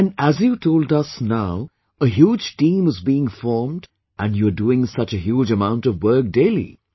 And as you told us now a huge team is being formed and you are doing such a huge amount of work daily